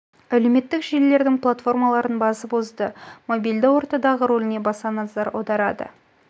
әлеуметтік желілердің платформаларын басып озды мобильді ортадағы рөліне баса назар аударады